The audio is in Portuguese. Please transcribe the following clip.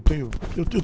Tenho, eu tenho...